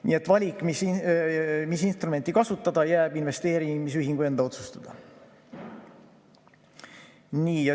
Nii et valik, mis instrumenti kasutada, jääb investeerimisühingu enda otsustada.